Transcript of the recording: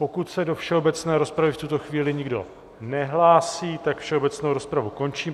Pokud se do všeobecné rozpravy v tuto chvíli nikdo nehlásí, tak všeobecnou rozpravu končím.